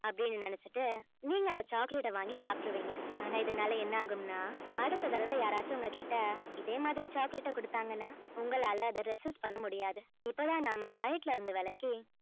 அப்படின்னு நினைச்சுட்டு நீங்க அந்த chocolate அ வாங்கி சாப்பிட்டுருவீங்க ஆனா இதனால என்ன ஆகும்னா அடுத்த தடவை யாராச்சும் உங்க கிட்ட இதே மாதிரி chocolate அ கொடுத்தாங்கன்னா உங்களால அதை resist பண்ண முடியாது இப்பதான் நாம diet ல இருந்து விலகி